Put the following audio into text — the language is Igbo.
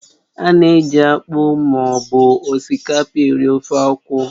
Ána eji akpụ ma ọ bụ osikapa eri ofe akwụ